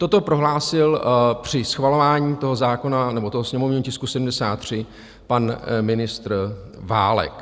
Toto prohlásil při schvalování toho zákona, nebo toho sněmovního tisku 73, pan ministr Válek.